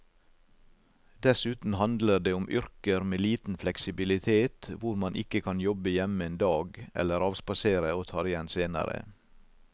Dessuten handler det om yrker med liten fleksibilitet hvor man ikke kan jobbe hjemme en dag eller avspasere og ta det igjen senere.